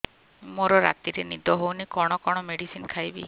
ମୋର ରାତିରେ ନିଦ ହଉନି କଣ କଣ ମେଡିସିନ ଖାଇବି